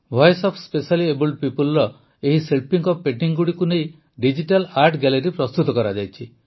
voice of specially abled ପିପୁଲର ଏହି ଶିଳ୍ପୀଙ୍କ ପେଂଟିଙ୍ଗଗୁଡ଼ିକୁ ଡିଜିଟାଲ୍ ଆର୍ଟ ଗ୍ୟାଲେରି ପ୍ରସ୍ତୁତ କରାଯାଇଛି